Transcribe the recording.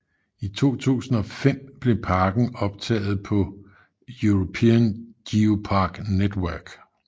I 2005 blev parken optaget på European Geopark Network